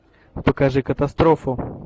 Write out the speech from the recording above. покажи катастрофу